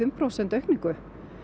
prósent aukningu